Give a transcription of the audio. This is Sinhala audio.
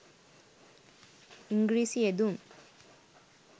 ඉංග්‍රීසි යෙදුම්